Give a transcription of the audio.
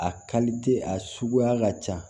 A a suguya ka ca